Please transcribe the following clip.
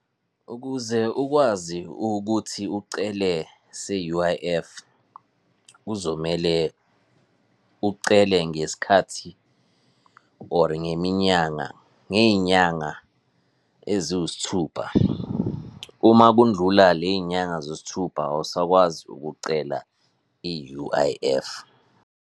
Ukuze ukwazi ukuthi ucele se-U_I_F, kuzomele ucele ngesikhathi or ngeminyanga, ngey'nyanga eziwusithupha. Uma kundlula le y'nyanga zesithupha, awusakwazi ukucela i-U_I_F.